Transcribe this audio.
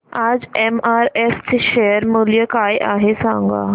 आज एमआरएफ चे शेअर मूल्य काय आहे सांगा